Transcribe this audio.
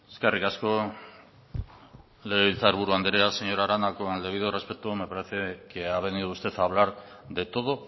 eskerrik asko legebiltzar buru andrea señora arana con el debido respeto me parece que ha venido usted a hablar de todo